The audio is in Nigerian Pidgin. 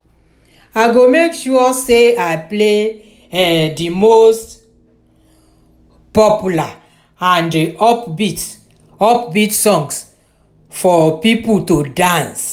i go make sure say i play um di most um popular and upbeat upbeat songs for people to dance.